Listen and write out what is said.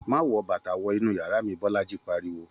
Má wọ bàtà wọ inú yàrá mi!, Bọ́lájí pariwo